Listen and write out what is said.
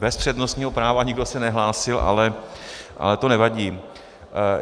Bez přednostního práva - nikdo se nehlásil, ale to nevadí.